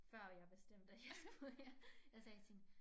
Før jeg bestemte at jeg skulle her jeg sagde til hende